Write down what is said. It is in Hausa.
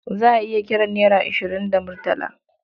Za a iya kiran naira ashirin da murtala.